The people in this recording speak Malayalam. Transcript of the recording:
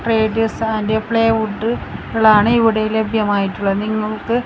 റേഡിയോസ് ആൻഡ് ഫ്ലൈവുഡുകൾ ആണ് ഇവിടെ ലഭ്യമായിട്ടുള്ള നിങ്ങൾക്ക്--